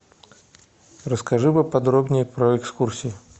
расскажи поподробнее про экскурсии